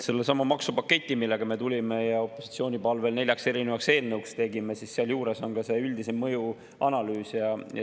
Sellesama maksupaketi juures, millega me tulime ja mille me opositsiooni palvel neljaks erinevaks eelnõuks tegime, on ka üldisem mõjuanalüüs.